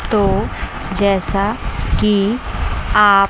तो जैसा कि आप--